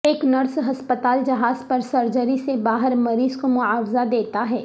ایک نرس ہسپتال جہاز پر سرجری سے باہر مریض کو معاوضہ دیتا ہے